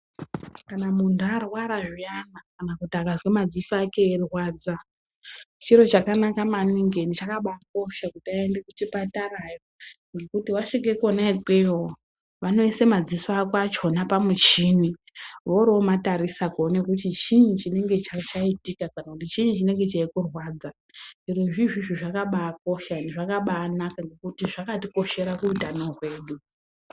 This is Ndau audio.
Kana muntu arwara zviyana kana kuti akazwe madziso ake eirwadza chiro chakanaka maningi ende chakabaakosha kuti aende kuchipatara ngekuti wasvika kona ikweyo vanoise madziso ako achona pamuchini voroomatirisa kuona kuti chiinyi chinenge chaitika kana kuti chiinyi chinenge cheimborwadza zvirozvo izvizvi zvakabaakosha ende zvakabaanaka ngekuti zvakatikoshera kuutano hwedu.